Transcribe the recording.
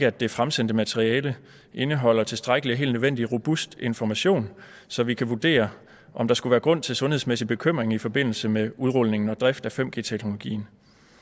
at det fremsendte materiale indeholder tilstrækkelig og helt nødvendig robust information så vi kan vurdere om der skulle være grund til sundhedsmæssig bekymring i forbindelse med udrulningen og drift af 5g teknologien